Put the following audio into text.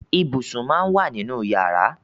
Ibùsùn máa ń wà nínú yàrá.